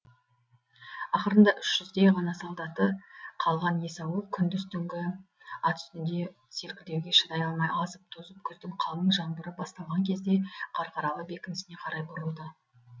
ақырында үш жүздей ғана солдаты қалған есауыл күндіз түнгі ат үстінде селкілдеуге шыдай алмай азып тозып күздің қалың жаңбыры басталған кезде қарқаралы бекінісіне қарай бұрылды